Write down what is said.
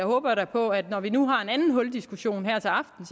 håber da på at det når vi nu har en anden huldiskussion her til aften